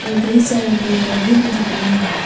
और कई सारा पेड़ पौधे भी दिख रहे हैं।